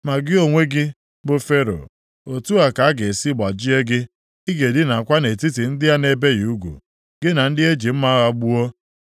“Ma gị onwe gị, bụ Fero, otu a ka a ga-esi gbajie gị, ị ga-edinakwa nʼetiti ndị a na-ebighị ugwu, gị na ndị e ji mma agha gbuo.